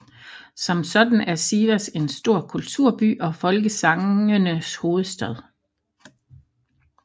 Som sådan er Sivas en stor kulturby og folkesangenes hovedstad